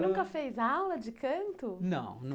Nunca fez aula de canto? Não!